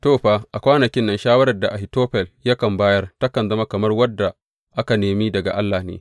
To, a kwanakin nan shawarar da Ahitofel yakan bayar takan zama kamar wadda aka nemi daga Allah ne.